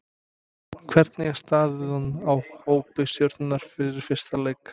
Hvernig er staðan á hópi Stjörnunnar fyrir fyrsta leik?